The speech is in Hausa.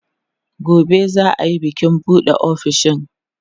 gobe za'a Yi bikin buɗe ofishin